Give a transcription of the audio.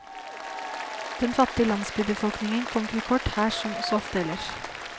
Den fattig landsbybefolkningen kommer til kort her som så ofte ellers.